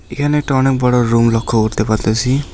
এখানে একটা অনেক বড়ো রুম লক্ষ্য করতে পারতাছি।